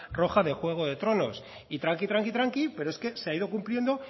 roja de juego de tronos y tranqui tranqui tranqui pero es que se ha ido cumpliendo